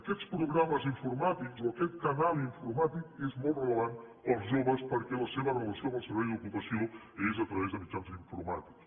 aquests programes informàtics o aquest canal informàtic és molt rellevant per als joves perquè la seva relació amb el servei d’ocupació és a través de mitjans informàtics